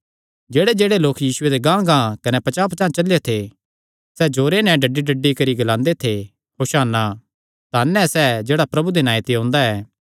जेह्ड़ेजेह्ड़े लोक यीशुये दे गांहगांह कने पचांह़पचांह़ चलेयो थे डड्डीडड्डी नैं ग्लांदे थे होशाना धन ऐ सैह़ जेह्ड़ा प्रभु दे नांऐ ते ओंदा ऐ